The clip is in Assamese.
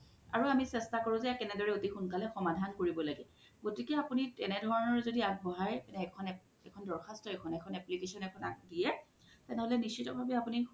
আৰু আমি সেস্থা কেনেদৰে জে এতিসোনকালে সমধান কৰিব লাগে গতিকে আপুনি তেনেকুৱা ধৰনৰ জদি আগবঢ়াই এখন দৰ্সাশ্ত এখন application এখন দিযে তেনেহলে নিস্শিত্য ভাবে আপুনি